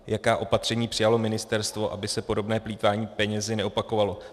Jaká opatření přijalo ministerstvo, aby se podobné plýtvání penězi neopakovalo?